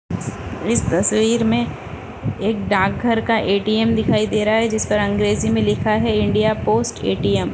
इस तस्वीर में एक डाकघर का एटीएम दिखाई दे रहा है जिस पर अंग्रेजी में लिखा है इंडिया पोस्ट एटीएम ।